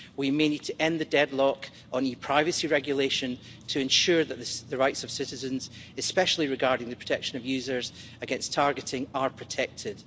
We may need to end the deadlock on e-privacy regulation to ensure that the rights of citizens, especially regarding the protection of users against targeting, are protected.